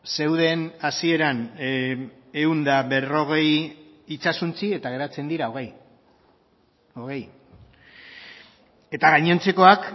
zeuden hasieran ehun eta berrogei itsasontzi eta geratzen dira hogei hogei eta gainontzekoak